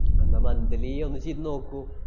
അന്നാ monthly ഒന്ന് ചെയ്‌ത്‌ നോക്കൂ.